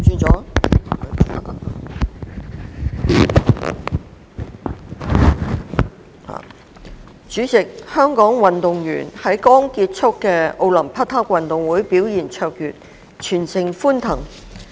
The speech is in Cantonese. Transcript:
主席，香港運動員在剛結束的奧林匹克運動會表現卓越，全城歡騰。